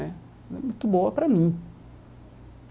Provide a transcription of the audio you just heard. Né Foi muito boa para mim.